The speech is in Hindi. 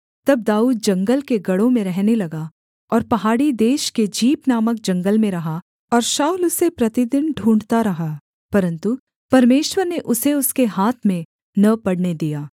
तब दाऊद जंगल के गढ़ों में रहने लगा और पहाड़ी देश के जीप नामक जंगल में रहा और शाऊल उसे प्रतिदिन ढूँढ़ता रहा परन्तु परमेश्वर ने उसे उसके हाथ में न पड़ने दिया